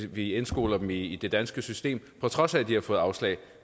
vi indskoler dem i det danske system på trods af at de har fået afslag